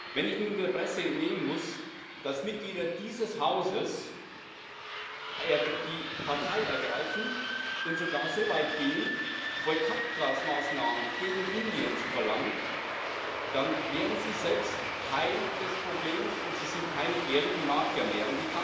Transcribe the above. Wenn ich nun der Presse entnehmen muss, dass Mitglieder dieses Hauses Partei ergreifen und sogar so weit gehen, Boykottmaßnahmen gegen Indien zu verlangen, dann werden sie selbst Teil des Problems und sind keine ehrlichen Makler mehr.